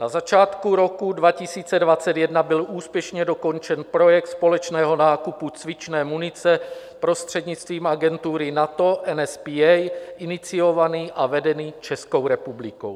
Na začátku roku 2021 byl úspěšně dokončen projekt společného nákupu cvičné munice prostřednictvím agentury NATO NSPA, iniciovaný a vedený Českou republikou.